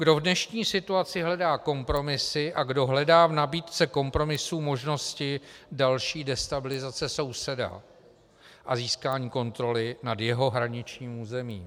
Kdo v dnešní situaci hledá kompromisy a kdo hledá v nabídce kompromisů možnosti další destabilizace souseda a získání kontroly nad jeho hraničním územím?